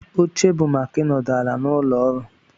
Oche bụ maka ịnọdụ ala n'ụlọ ọrụ